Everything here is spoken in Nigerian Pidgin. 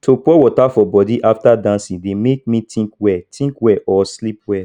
to pour water for body after dancing de make me think well think well or sleep well